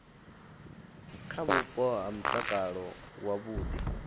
kha vhupo ha mutakalo wavhudi